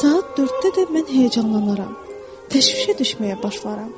Saat 4-də də mən həyəcanlanaram, təşvişə düşməyə başlaram.